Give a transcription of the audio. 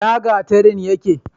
ina gatarin yake?